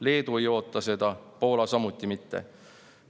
Leedu ei oota seda, Poola samuti mitte.